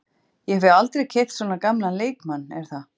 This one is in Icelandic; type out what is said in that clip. Ég hef aldrei keypt svona gamlan leikmann er það?